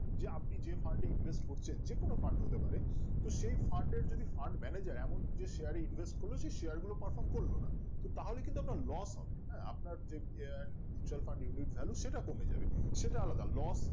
যে আপনি যে fund এ invest করছেন যে কোনো fund হতে পারে তো সেই fund এর যদি fund manager এমন যে share এ invest করলো সে share গুলো performance করলো না তো তাহলে কিন্তু একটা loss হবে না হ্যাঁ আপনার যে আহ mutual fund unit value সেটা কমে যাবে সেটা আলাদা loss